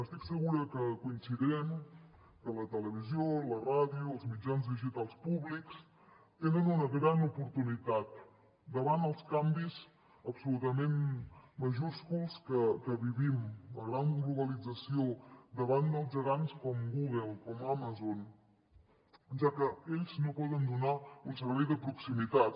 estic segura que coincidirem que la televisió i la ràdio els mitjans digitals públics tenen una gran oportunitat davant els canvis absolutament majúsculs que vivim la gran globalització davant dels gegants com google com amazon ja que ells no poden donar un servei de proximitat